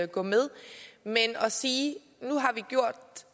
gå med men at sige